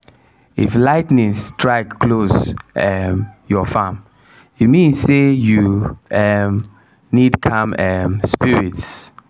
if lightning strike close um your farm e mean say you um need calm um spirits.